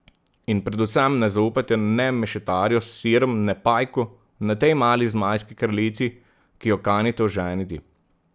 In predvsem ne zaupajte ne mešetarju s sirom ne Pajku ne tej mali zmajski kraljici, ki jo kanite oženiti.